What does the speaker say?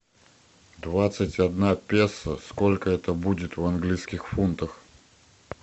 двадцать одна песо сколько это будет в английских фунтах